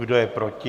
Kdo je proti?